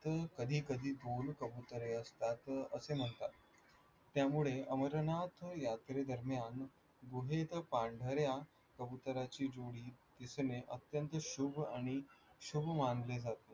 कधी कधी कबुतरे असतात असे म्हणतात. त्यामुळे अमरनाथ यात्रेदरम्यान गुहेत पांढऱ्या कबूतराची जोडी दिसणे अत्यंत शुभ आणि शुभ मानले जाते.